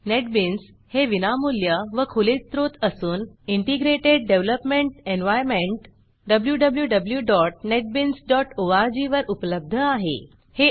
NetBeans हे विनामूल्य व खुले स्त्रोत असून इंटीग्रेटेड डेव्हलपमेंट एनव्हायर्नमेंट wwwnetbeansorg वर उपलब्ध आहे